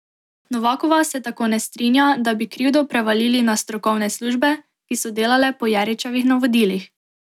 Novakova se tako ne strinja, da bi krivdo prevalili na strokovne službe, ki so delale po Jeričevih navodilih.